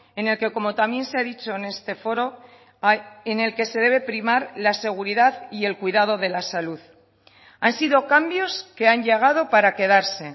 en el que como también se ha dicho en este foro en el que se debe primar la seguridad y el cuidado de la salud han sido cambios que han llegado para quedarse